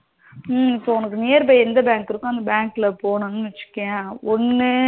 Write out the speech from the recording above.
இப்போ உனக்கு nearby எந்த bank இருக்கோ அந்த bank ல போகணும்னு வச்சுக்கோயேன் ஒன்னு